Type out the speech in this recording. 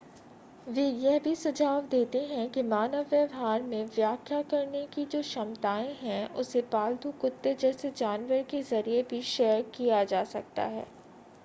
वे यह भी सुझाव देते हैं कि मानव व्यवहार में व्याख्या करने की जो क्षमताएं हैं उसे पालतू कुत्ते जैसे जानवर के ज़रिए भी शेयर किया जा सकता है